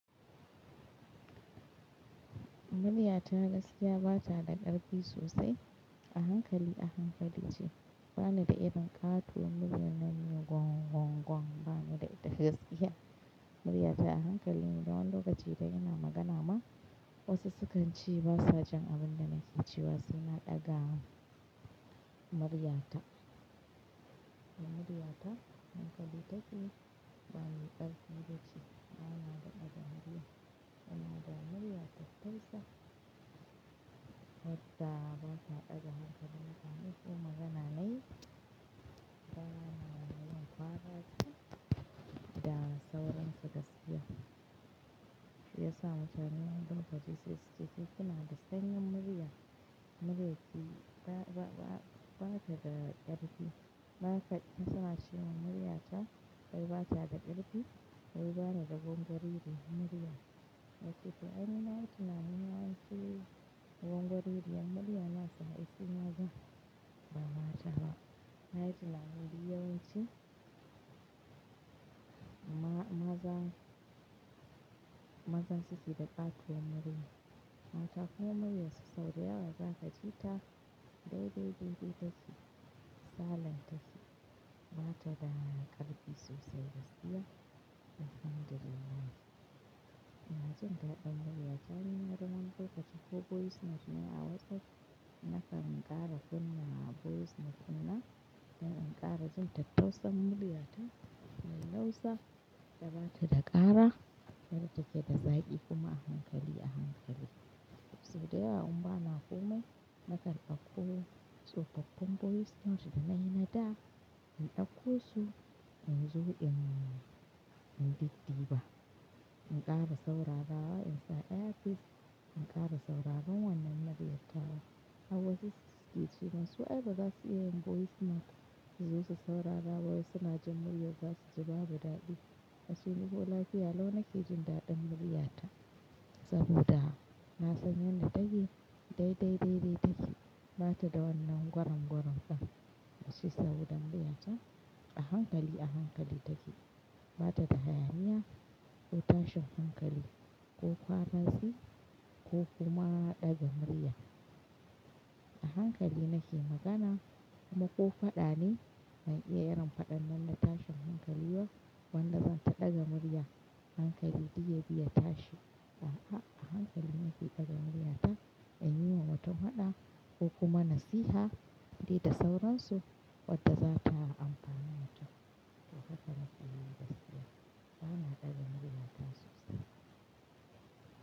Murya ta gaskiya ba ta da ƙarfi sosai. A hankali a hankali ce. Ba ni da irin ƙatuwar murna na yi gwong gwong gwong. Ba ni da ita gaskiya. Murya ta a hankali. Idan wani lokaci zan yi magana ma wasu sukan ce basa jin abin da nake cewa saina ɗaga murya ta. Murya ta a hankali take. Ba ni ƙarfi da ciki. Ba na da ɗaga murya. Da na da murya ta tasa wadda ba ta ɗaga hankali ba. Ni ko magana nayi, ba na yin kuskure da saurinsa gaskiya. Ya samu can nan ɗan lokaci sai suke cewa ke kina da sanyin murya. Muryarki ba ta da ƙarfi. Ba ta sana shiman murya ta. Wai ba ta da ƙarfi. Wai ba na da gon gori ɗin murya. Wai ke ta, anyi na yi tunanin wai shi gon gori ɗin murya in aka haifi maza ba mata ba. Na yi tunanin wai yawanci maza, maza su suke da ƙatuwar murya. Mata ko murya su sau da yawa za ka ji ta dai-dai, dai-dai take. Silent take. Ba ta da ƙarfi sosai gaskiya. Ba fanɗere take. Ina jin daɗin murya ta. Anyi nan ɗan lokaci ko voice note ne a WhatsApp. Na kan ƙara kunna voice note na. Ina ƙara ji tattausan murya ta mai lausa da ba ta da ƙara. Sannan take da zaɓi kuma a hankali a hankali. Sai dai a in ba na komai na kan ɗanko tsofaffin voice note da na yi na da. In dauko su, inzo in bi diba. In ƙara saurara wa in sa earpiece In ƙara saurara wannan murya ta wa. A wasu suke cewa su ai ba su iya yin voice note. Zu su saurara wa wasu naji murya su ji babu ɗaɗi. Ai su ni dai lafiya lau naka ji ɗaɗin murya ta. Saboda na sanya na take dai-dai, dai-dai take. Ba ta da wannan gwang-gwang ɗin. Shi saboda murya ta a hankali a hankali take. Ba ta da hayaniya ko tashin hankali ko kuma ko kuma ɗaga murya. A hankali nake magana kuma ko faɗa ne. Ban iya yin faɗan nan na tashin hankali ba. Wannan zan ta ɗaga murya. Hankali dik ya bi ya tashi. A'a, a hankali nake ɗaga murya ta. In yi wa wata faɗa ko kuma nasiha. Duk da sauransu wadda za ta amfani mutum. To haka nake yi gaskiya. Ba na ɗaga murya ta sosai.